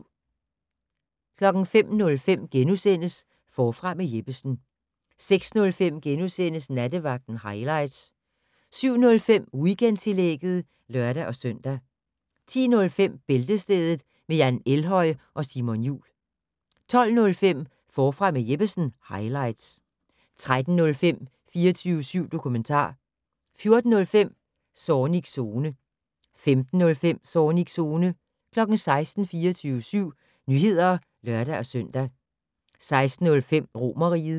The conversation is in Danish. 05:05: Forfra med Jeppesen * 06:05: Nattevagten highlights * 07:05: Weekendtillægget (lør-søn) 10:05: Bæltestedet med Jan Elhøj og Simon Jul 12:05: Forfra med Jeppesen - highlights 13:05: 24syv dokumentar 14:05: Zornigs Zone 15:05: Zornigs Zone 16:00: 24syv Nyheder (lør-søn) 16:05: Romerriget